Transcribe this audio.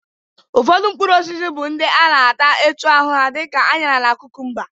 Ụfọdụ mkpụrụosisi bụ ndị a na-ata etu ahụ dị ka añara na kụkụmba